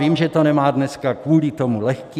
Vím, že to nemá dneska kvůli tomu lehké.